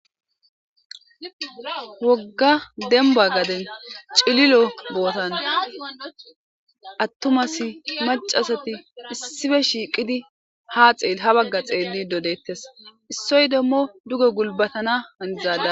wogga demba gaden cililo bootan attumas macasati issife shiiqidi ha xeel ha bagga xeelli dodettes issoy demmo duge gulbatana handizada